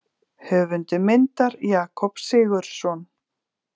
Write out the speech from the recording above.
Höfundur myndar: Jakob Sigurðsson.